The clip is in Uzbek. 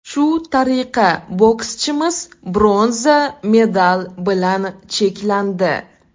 Shu tariqa, bokschimiz bronza medal bilan cheklandi.